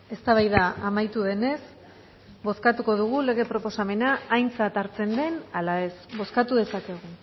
eztabaida amaitu denez bozkatuko dugu lege proposamena aintzat hartzen den ala ez bozkatu dezakegu